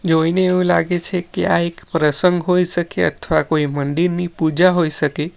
જોઈને એવું લાગે છે કે આ એક પ્રસંગ હોઈ શકે અથવા કોઈ મંદિરની પૂજા હોઈ શકે.